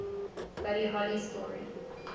buddy holly story